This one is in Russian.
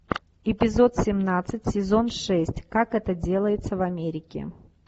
эпизод семнадцать сезон шесть как это делается в америке